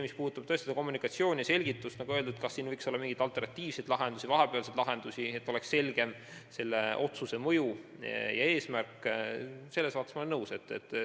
Mis puudutab kommunikatsiooni, selgitust ja seda, kas võiks olla mingeid alternatiivseid lahendusi, siis olen nõus, selle otsuse mõju ja eesmärk võiks selgem olla.